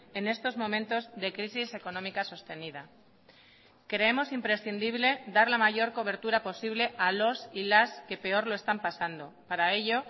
en estos momentos de crisis económica sostenida creemos imprescindible dar la mayor cobertura posible a los y las que peor lo están pasando para ello